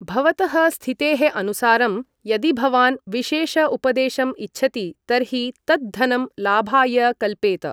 भवतः स्थितेः अनुसारं यदि भवान् विशेष उपदेशम् इच्छति तर्हि तत् धनं लाभाय कल्पेत।